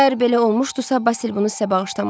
Əgər belə olmuşdusa, Basil bunu sizə bağışlamazdı.